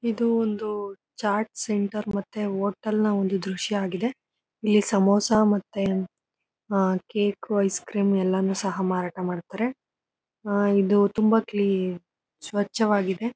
ಇದು ಒಂದು ಚಾಟ್ ಸೆಂಟರ್ ಮತ್ತೆ ಹೋಟೆಲ್ ನ ಒಂದು ದೃಶ್ಯಆಗಿದೆ ಇಲ್ಲಿ ಸಮೋಸ ಮತ್ತೆ ಕೇಕು ಐಸ್ ಕ್ರೀಮ್ ಎಲ್ಲಾನು ಸಹ ಮಾರಾಟ ಮಾಡ್ತಾರೆ. ಆ ಇದು ತುಂಬಾ ಕ್ಲೀನ್ ಸ್ವಚ್ಛವಾಗಿದೆ.